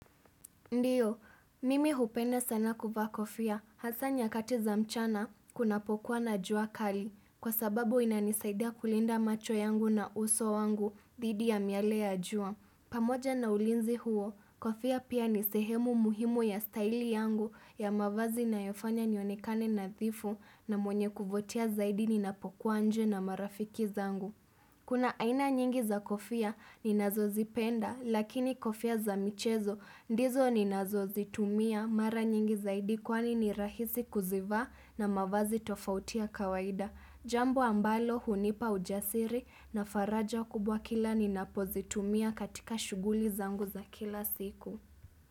Ndiyo, mimi hupenda sana kuvaa kofia hasa nyakati za mchana kunapokuwa na jua kali kwa sababu inanisaida kulinda macho yangu na uso wangu dhidi ya miale ya jua. Pamoja na ulinzi huo, kofia pia ni sehemu muhimu ya staili yangu ya mavazi inayofanya nionekane nadhifu na mwenye kuvutia zaidi ni napokuwa nje na marafiki zangu. Kuna aina nyingi za kofia ninazozipenda lakini kofia za michezo ndizo ninazozitumia mara nyingi zaidi kwani ni rahisi kuzivaa na mavazi tofauti ya kawaida. Jambo ambalo hunipa ujasiri na faraja kubwa kila ninapozitumia katika shuguli zangu za kila siku.